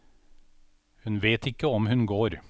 Hun vet ikke om hun går.